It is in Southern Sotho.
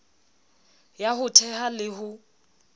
ya ho theha le ho